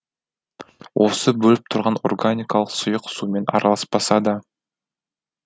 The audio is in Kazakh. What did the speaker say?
осы бөліп тұрған органикалық сұйық сумен араласпаса да